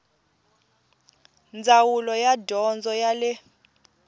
ndzawulo ya dyondzo ya le